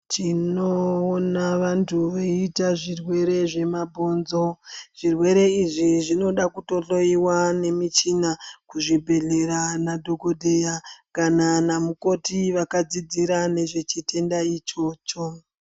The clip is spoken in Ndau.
Tinoona vanthu veiite zvirwere zvemabhonzo zvirwere izvi zvinoda kutohloyiwa nemichina muzvibhedhlera nadhokodheya kana namukoti akadzidzira nezvechitenda ichocho.